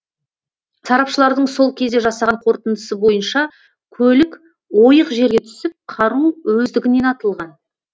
сарапшылардың сол кезде жасаған қорытындысы бойынша көлік ойық жерге түсіп қару өздігінен атылған